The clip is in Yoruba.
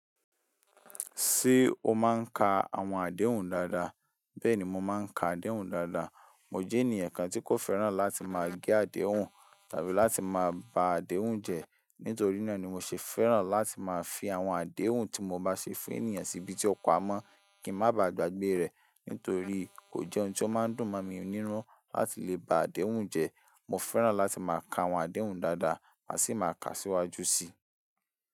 Ṣé o máa ń ka àwọn àdéhùn dáadáa? Bẹ́ẹ̀ni mò ń máa ń ka àdéhùn dáadáa. Mo jẹ́ ènìyàn kan tí kò fẹ́ràn láti máa gé àdéhùn tàbí láti máa ba àdéhùn jẹ. Nítorí náà ni mo ṣe fẹ́ràn láti máa fi àwọn àdéhùn tí mo bá ṣe fún ènìyàn sí ibi tí ó pa mọ́ kí ń má ba gbàgbé rẹ̀. Nítorí kò jẹ́ ohun tí ó máa ń dùn mọ́ mi ninu láti lè ba àdéhùn jẹ. Mo fẹ́ràn láti máa ka àwọn àdéhùn dáadáa, má sì máa kà síwájú sí i.